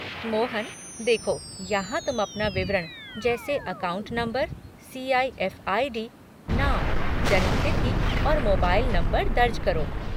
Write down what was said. मोहन, देखो यहाँ तुम अपना विवरण जैसे अकाउंट नंबर, सी.आई.एफ़ आई.डी., नाम, जन्म तिथि और मोबाइल नंबर दर्ज करो।